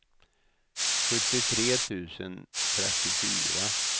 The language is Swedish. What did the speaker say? sjuttiotre tusen trettiofyra